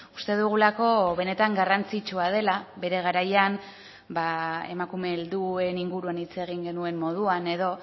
uste dugulako benetan garrantzitsua dela bere garaian emakume helduen inguruan hitz egin genuen moduan edo